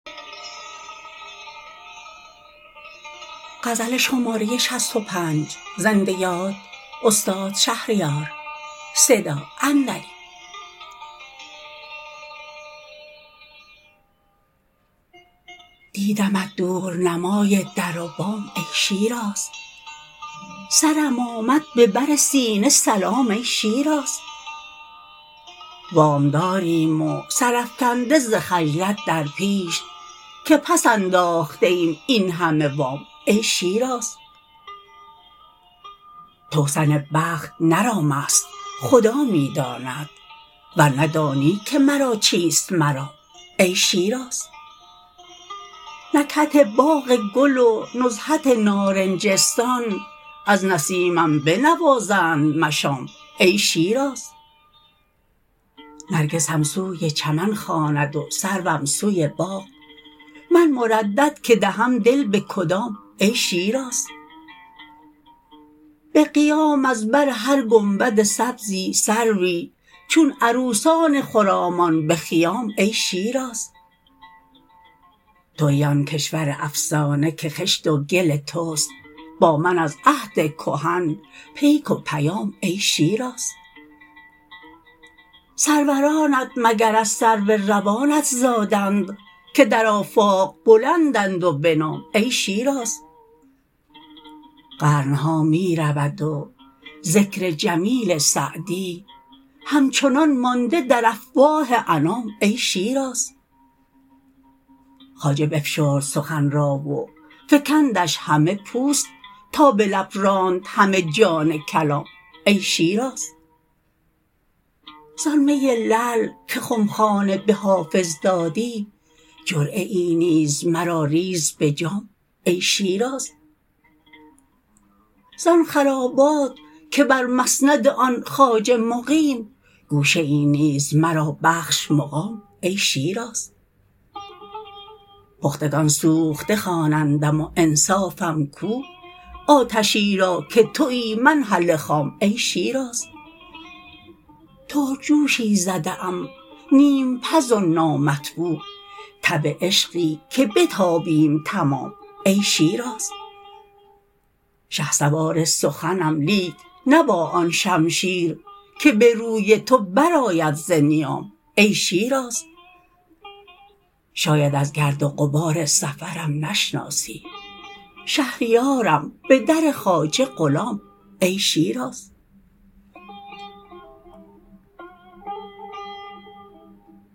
دیدمت دورنمای در و بام ای شیراز سرم آمد به بر سینه سلام ای شیراز وامداریم و سر افکنده ز خجلت در پیش که پس انداخته ایم این همه وام ای شیراز توسن بخت نه رام است خدا می داند ورنه دانی که مرا چیست مرام ای شیراز نکهت باغ گل و نزهت نارنجستان از نسیمم بنوازند مشام ای شیراز نرگسم سوی چمن خواند و سروم سوی باغ من مردد که دهم دل به کدام ای شیراز به قیام از بر هر گنبد سبزی سروی چون عروسان خرامان به خیام ای شیراز تویی آن کشور افسانه که خشت و گل تست با من از عهد کهن پیک و پیام ای شیراز سرورانت مگر از سرو روانت زادند که در آفاق بلندند و بنام ای شیراز قرن ها می رود و ذکر جمیل سعدی همچنان مانده در افواه انام ای شیراز خواجه بفشرد سخن را و فکندش همه پوست تا به لب راند همه جان کلام ای شیراز زان می لعل که خمخانه به حافظ دادی جرعه ای نیز مرا ریز به جام ای شیراز زان خرابات که بر مسند آن خواجه مقیم گوشه ای نیز مرا بخش مقام ای شیراز پختگان سوخته خوانندم و انصافم کو آتشی را که تویی من هله خام ای شیراز ترک جوشی زده ام نیم پز و نامطبوع تب عشقی که بتابیم تمام ای شیراز شهسوار سخنم لیک نه با آن شمشیر که به روی تو برآید ز نیام ای شیراز شاید از گرد و غبار سفرم نشناسی شهریارم به در خواجه غلام ای شیراز